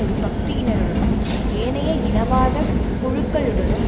ஒரு பகுதியினருடனும் ஏனைய இனவாத குழுக்களுடனும்